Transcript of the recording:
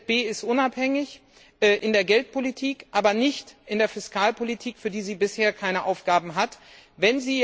Die EZB ist unabhängig in der Geldpolitik, aber nicht in der Fiskalpolitik, für die sie bisher keine Zuständigkeiten hat.